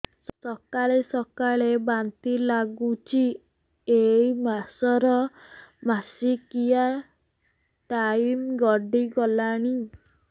ସକାଳେ ସକାଳେ ବାନ୍ତି ଲାଗୁଚି ଏଇ ମାସ ର ମାସିକିଆ ଟାଇମ ଗଡ଼ି ଗଲାଣି